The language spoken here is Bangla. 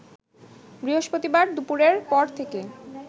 বৃহস্পতিবার দুপুরের পর থেকে